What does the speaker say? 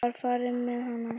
Það var farið með hana.